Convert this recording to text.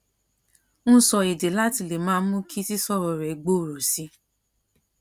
ń sọ èdè láti lè máa mú kí sísọrọ rẹ gbòòrò sí i